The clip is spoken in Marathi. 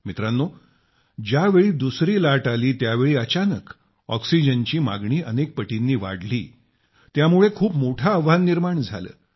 मित्रांनो ज्यावेळी दुसरी लाट आली त्यावेळी अचानक ऑक्सिजनची मागणी अनेक पटींनी वाढली त्यामुळे खूप मोठे आव्हान निर्माण झाले